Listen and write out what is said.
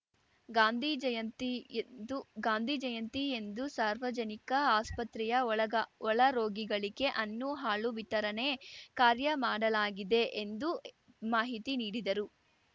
ಗಾಂಧಿ ಜಯಂತಿಯೆಂದು ಗಾಂಧಿ ಜಯಂತಿಯೆಂದು ಸಾರ್ವಜನಿಕ ಆಸ್ಪತ್ರೆಯ ಒಳಗ ಒಳರೋಗಿಗಳಿಗೆ ಹಣ್ಣು ಹಾಲು ವಿತರಣೆ ಕಾರ್ಯ ಮಾಡಲಾಗಿದೆ ಎಂದು ಮಾಹಿತಿ ನೀಡಿದರು